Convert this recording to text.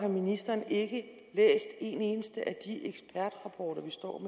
om ministeren ikke en eneste af de ekspertrapporter vi står